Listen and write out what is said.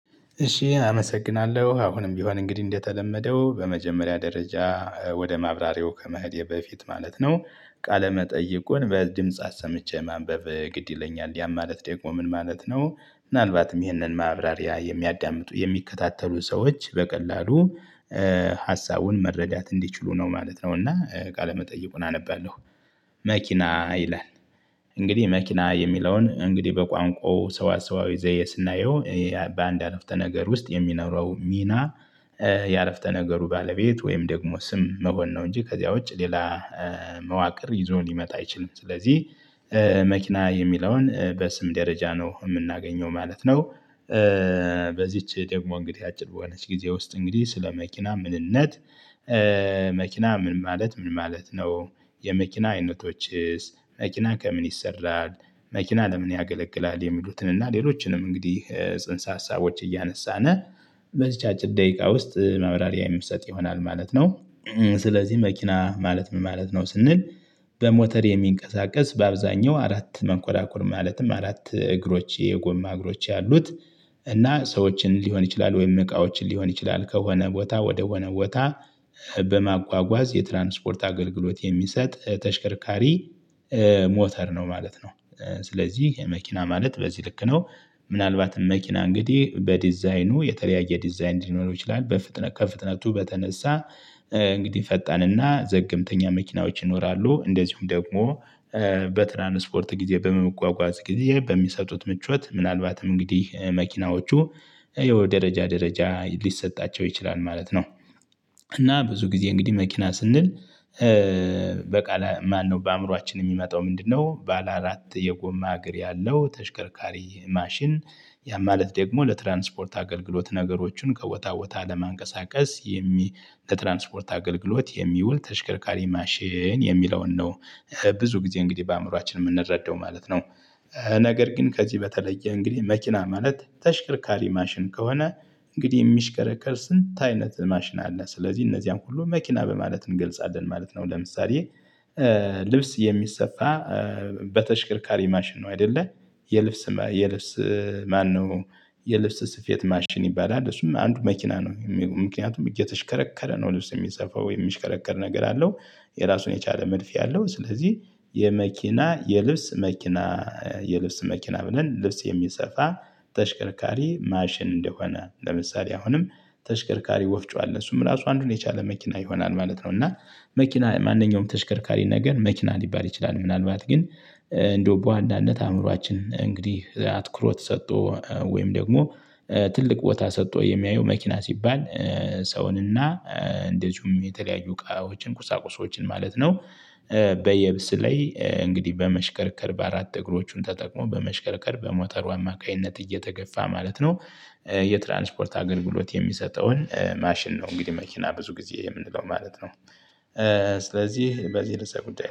እሺ አመሰግናለሁ አሁንም ቢሆን እንግዲህ እንደተለመደው በመጀመሪያ ደረጃ ወደ ማብራሪያው ከመሄዴ በፊት ማለት ነው ቃለ መጠይቁን በድምጽ አሰምቼ ማንበብ ግድ ይለኛል ያ ማለት ደግሞ ምን ማለት ነው? ምናልባትም ይህንን ማብራሪያ የሚያዳምጡ የሚከታተሉ ሰዎች በቀላሉ ሀሳቡን መረዳት እንዲችሉ ነው ማለት ነው እና ቃለመጠይቁን አነባለሁ። መኪና ይላል እንግዲህ መኪና የሚለውን እንግዲህ በቋንቋው ሰዋ ሰዋዊ ዘዬ ስናየው በአንድ አረፍተ ነገር ውስጥ የሚኖረው ሚና። የአረፍተ ነገሩ ባለቤት ወይም ደግሞ ስም መሆን ነው እንጂ ከዚያ ውጪ ሌላ መዋቅር ይዞ ሊመጣ አይችልም። ስለዚህ መኪና የሚለውን በስም ደረጃ ነው የምናገኘው ማለት ነው። በዚች ደግሞ እንግዲህ አጭር በሆነች ጊዜ ውስጥ እንግዲህ ስለ መኪና ምንነት። መኪና ምን ማለት ምን ማለት ነው? የመኪና አይነቶችስ መኪና ከምን ይሰራል? መኪና ለምን ያገለግላል የሚሉትን እና ሌሎችንም እንግዲህ ጽንሰ ሀሳቦች እያነሳን። በዚች አጭር ደቂቃ ውስጥ ማብራሪያ የሚሰጥ ይሆናል ማለት ነው። ስለዚህ መኪና ማለት ምን ማለት ነው ስንል። በሞተር የሚንቀሳቀስ በአብዛኛው አራት መንኮራኩር ማለትም አራት እግሮች የጎማ እግሮች ያሉት እና ሰዎችን ሊሆን ይችላል ወይም እቃዎችን ሊሆን ይችላል ከሆነ ቦታ ወደሆነ ቦታ በማጓጓዝ የትራንስፖርት አገልግሎት የሚሰጥ ተሽከርካሪ። ሞተር ነው ማለት ነው። ስለዚህ መኪና ማለት በዚህ ልክ ነው። ምናልባትም መኪና እንግዲህ በዲዛይኑ የተለያየ ዲዛይን ሊሆን ይችላል በፍጥነት ከፍጥነቱ በተነሳ። እንግዲህ ፈጣንና ዘገምተኛ መኪናዎች ይኖራሉ እንደዚሁም ደግሞ። በትራንስፖርት ጊዜ በመመጓጓዝ ጊዜ በሚሰጡት ምቾት ምናልባትም እንግዲህ መኪናዎቹ ያው ደረጃ ደረጃ ሊሰጣቸው ይችላል ማለት ነው። እና ብዙ ጊዜ እንግዲህ መኪና ስንል በቃል ማነው በአእምሮአችን የሚመጣው ምንድነው? ባለ አራት የጎማ እግር ያለው ተሽከርካሪ ማሽን። ያ ማለት ደግሞ ለትራንስፖርት አገልግሎት ነገሮችን ከቦታ ቦታ ለማንቀሳቀስ ለትራንስፖርት አገልግሎት የሚውል ተሽከርካሪ ማሽን የሚለውን ነው። ብዙ ጊዜ እንግዲህ በአእምሮአችን የምንረዳው ማለት ነው። ነገር ግን ከዚህ በተለየ እንግዲህ መኪና ማለት ተሽከርካሪ ማሽን ከሆነ። እንግዲህ የሚሽከረከር ስንት አይነት ማሽን አለ ስለዚህ እነዚያን ሁሉ መኪና በማለት እንገልጻለን ማለት ነው ለምሳሌ። ልብስ የሚሰፋ። በተሽከርካሪ ማሽን ነው አይደለ? የልብስ የልብስ ማነው? የልብስ ስፌት ማሽን ይባላል እሱም አንዱ መኪና ነው ምክንያቱም እየተሽከረከረ ነው ልብስ የሚሰፋው የሚሽከረከር ነገር አለው። ራሱን የቻለ መድፍ ያለው ስለዚህ። የመኪና የልብስ መኪና። የልብስ መኪና ብለን ልብስ የሚሰፋ። ተሽከርካሪ ማሽን እንደሆነ ለምሳሌ አሁንም ተሽከርካሪ ወፍጮ አለ እሱም ራሱ አንዱን የቻለ መኪና ይሆናል ማለት ነው። እና መኪና ማንኛውም ተሽከርካሪ ነገር መኪና ሊባል ይችላል ምናልባት ግን። እንደው በዋናነት አእምሮአችን እንግዲህ አትኩሮት ሰጥቶ ወይም ደግሞ ትልቅ ቦታ ሰጥቶ የሚያየው መኪና ሲባል። ሰውንና እንደዚሁም የተለያዩ እቃዎችን ቁሳቁሶችን ማለት ነው። በየብስ ላይ እንግዲህ በመሽከርከር በአራት እግሮቹን ተጠቅሞ በመሽከርከር በሞተሩ አማካኝነት እየተገፋ ማለት ነው። የትራንስፖርት አገልግሎት የሚሰጠውን ማሽን ነው እንግዲህ መኪና ብዙ ጊዜ የምንለው ማለት ነው። ስለዚህ በዚህ ርዕሰ ጉዳይ